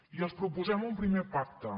i els proposem un primer pacte